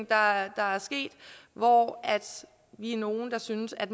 der er sket hvor vi er nogle der synes at